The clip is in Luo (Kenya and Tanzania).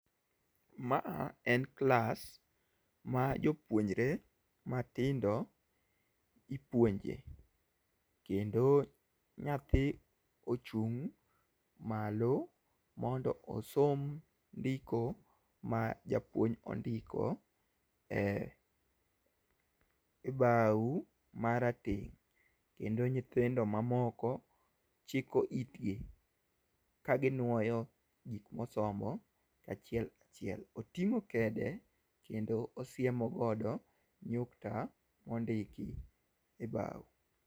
Ma a en klas ma jopuonjre matindo ipuonje. Kendo nyathi ochung' malo mondo osom ndiko ma japuonj ondiko e bao marateng' kendo nyithindo mamoko chiko itgi ka ginuoyo gik mosomo achiel kachiel. Oting'o kede kendo osiemo godo nyukta mondiki e bao.